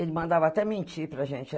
Ele mandava até mentir para a gente.